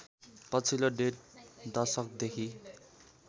पछिल्लो डेढ दशकदेखि